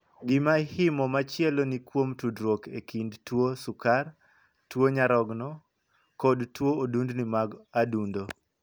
Gima ihimo machielo ni kuom tudruok e kind tuo sukar, tuo nyarogno, kod tuo odundni mag adundo.